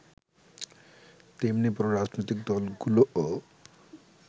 তেমনি বড় রাজনৈতিক দলগুলোও